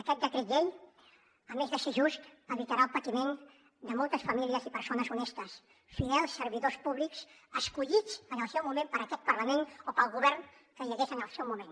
aquest decret llei a més de ser just evitarà el patiment de moltes famílies i persones honestes fidels servidors públics escollits en el seu moment per aquest parlament o pel govern que hi hagués en el seu moment